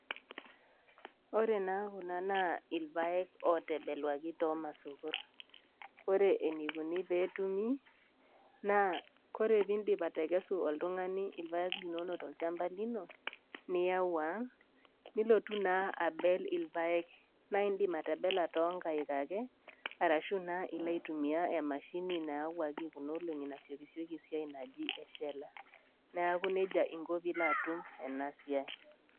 Ore naa kulo naa ilpaek ootebeluaki too imasokor, ore eneikuni pee etumi naa tenindip atekesu oltung'ani ilpaek linono tolchamba lino, niyau aang', nilotu naa abel ilpaek naa indim atebela too inkai ake, arashu naa ilo aitumiya emashini naiyawaki kuna oolong'i nasiokisioki esiai enaji eshella. Neaku neija inko pee ilo atum ena siai.